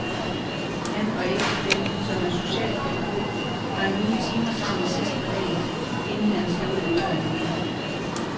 Han og ægtefællen, som er socialpædagog, har nogle timer sammen sidst på dagen, inden han skal ud ad døren igen.